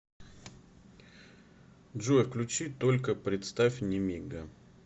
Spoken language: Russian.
джой включи только представь немига